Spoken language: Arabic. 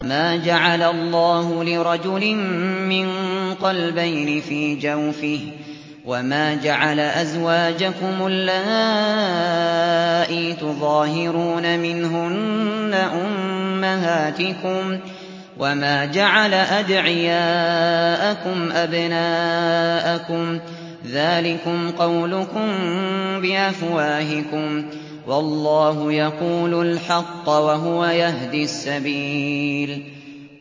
مَّا جَعَلَ اللَّهُ لِرَجُلٍ مِّن قَلْبَيْنِ فِي جَوْفِهِ ۚ وَمَا جَعَلَ أَزْوَاجَكُمُ اللَّائِي تُظَاهِرُونَ مِنْهُنَّ أُمَّهَاتِكُمْ ۚ وَمَا جَعَلَ أَدْعِيَاءَكُمْ أَبْنَاءَكُمْ ۚ ذَٰلِكُمْ قَوْلُكُم بِأَفْوَاهِكُمْ ۖ وَاللَّهُ يَقُولُ الْحَقَّ وَهُوَ يَهْدِي السَّبِيلَ